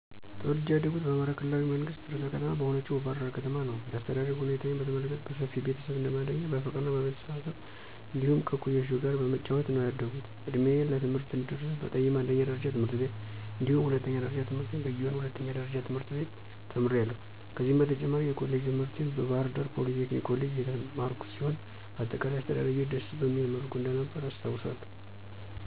ተወልጀ ያደኩት በአማራ ክልላዊ መንግስት ርዕሰ ከተማ በሆነችው ባሕር ዳር ከተማ ነዉ። የአስተዳደግ ሁኔታዬን በተመለከት በሰፊ ቤተሰብ እንደማደጌ በፍቅርና በመተሳሰብ እንዲሁም ከእኩዮቼ ጋር በመጫወት ነዉ ያደኩት። እድሜዬ ለትምህርት እንደደረሰ በጠይማ አንደኛ ደረጃ ትምህርት ቤት እንዲሁም ሁለተኛ ደረጃ ትምህርቴን በጊዮን ሁለተኛ ደረጃ ትምህርት ቤት ተምሬያለሁ። ከዚህም በተጨማሪ የኮሌጅ ትምህርቴን በባህርዳር ፖሊቴክኒክ ኮሌጅ የተማርኩ ሲሆን በአጠቃላይ አስተዳደጌ ደስ በሚል መልኩ እንደነበረ አስታዉሳለሁ።